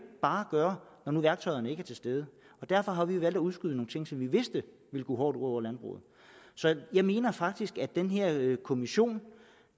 bare gøre når nu værktøjerne ikke er til stede og derfor har vi valgt at udskyde nogle ting som vi vidste ville gå hårdt ud over landbruget så jeg mener faktisk at den her kommission